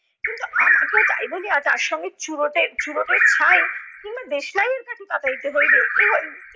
কিন্তু আমাকেও তাই বলিয়া তার সঙ্গে চুরুটের চুরুটের ছাই কিংবা দেশলাইয়ের কাঠি পাতাইতে হইবে।